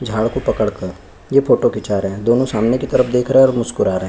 झाड़ को पकड़कर ये फोटो खींचा रहे है दोनों सामने की तरफ देख रहे है और मुस्कुरा रहे।